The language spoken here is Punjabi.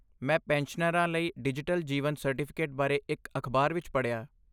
ਮੈਂ ਪੈਨਸ਼ਨਰਾਂ ਲਈ ਡਿਜੀਟਲ ਜੀਵਨ ਸਰਟੀਫਿਕੇਟ ਬਾਰੇ ਇੱਕ ਅਖਬਾਰ ਵਿੱਚ ਪੜ੍ਹਿਆ।